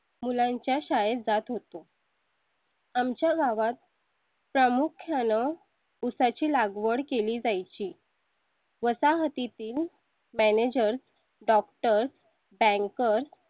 मुलांच्या शाळेत जात होतो आमच्या गावात. प्रामुख्यानं उसा ची लागवड केली जाय ची . वसाहती तील manager doctor banker